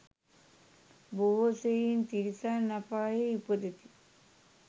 බොහෝ සෙයින් තිරිසන් අපායෙහි උපදිති.